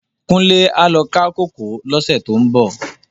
Kunle á lò ká kókòó lòsè tó n bò